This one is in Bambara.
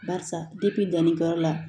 Barisa dannikɛ yɔrɔ la